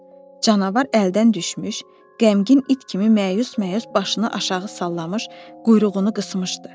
Canavar əldən düşmüş, qəmgin it kimi məyus-məyus başını aşağı sallamış, quyruğunu qısmışdı.